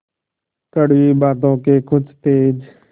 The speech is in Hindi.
कड़वी बातों के कुछ तेज